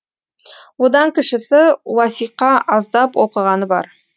одан кішісі уасиқа аздап оқығаны бар